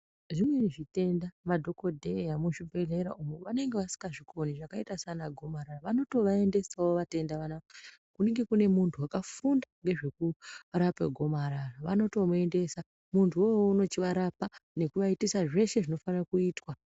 Zvimweni zvitenda madhokodheya muzvibhlerera umu vanenge vasingazvikoni zvakaita sana gomarara vanotovaendesawo vatenda vanava kunenge kune muntu wakafunda ngezveku rape gomarara vanotomuendesa mutuwouwowo unochivarapa nekuvaitisa zveshe zvinofane kuitwa.